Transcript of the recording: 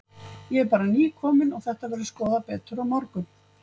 En fjölskyldan þar er jafnan sem hennar annað heimili þótt fundum fækki, og